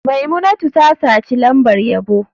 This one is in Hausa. Maimunatu ta saci lambar yabo.